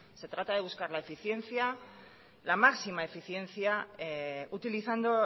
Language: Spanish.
se trata de buscar la eficiencia la máxima eficiencia utilizando